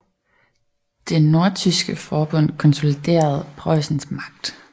Det nordtyske forbund konsoliderede Preussens magt